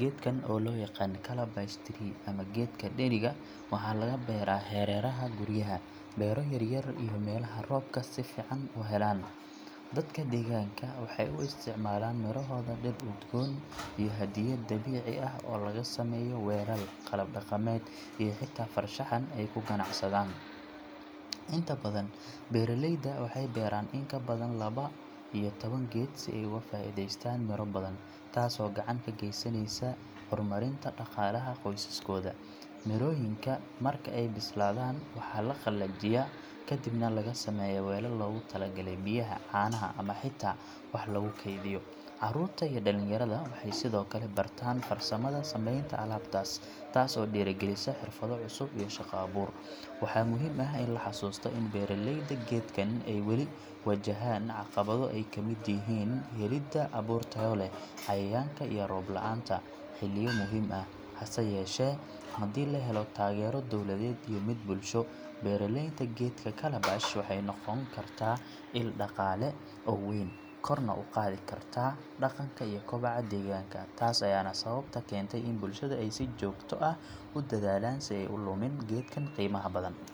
Geedkan oo loo yaqaan calabash tree ama geedka dheriga, waxaa laga beeraa hareeraha guryaha, beero yaryar iyo meelaha roobka si fiican u helaan. Dadka deegaanka waxay u isticmaalaan mirohooda dhir udgoon iyo hadiyad dabiici ah oo laga sameeyo weelal, qalab dhaqameed iyo xitaa farshaxan ay ku ganacsadaan. Inta badan beeraleyda waxay beeraan in ka badan laba iyo toban geed si ay uga faa’iidaystaan miro badan, taasoo gacan ka geysaneysa horumarinta dhaqaalaha qoyskooda. Mirooyinka marka ay bislaadaan waxaa la qalajiyaa kadibna laga sameeyaa weelal loogu talagalay biyaha, caanaha ama xitaa wax lagu kaydiyo. Carruurta iyo dhallinyarada waxay sidoo kale bartaan farsamada sameynta alaabtaas, taas oo dhiirrigelisa xirfado cusub iyo shaqo abuur. Waxaa muhiim ah in la xasuusto in beeraleyda geedkan ay weli wajahaan caqabado ay ka mid yihiin helidda abuur tayo leh, cayayaanka iyo roob la’aanta xilliyo muhiim ah. Hase yeeshee, haddii la helo taageero dowladeed iyo mid bulsho, beralaynta geedka calabash waxay noqon kartaa il dhaqaale oo weyn, korna u qaadi karta dhaqanka iyo koboca deegaanka. Taas ayaana sababta keentay in bulshada ay si joogto ah u dadaalaan si aysan u lumin geedkan qiimaha badan.